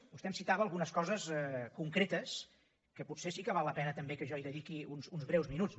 vostè em citava algunes coses concretes que potser sí que val la pena també que jo hi dediqui uns breus minuts